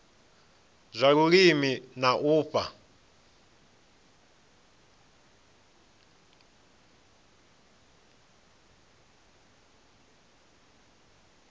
zwa vhulimi na u fha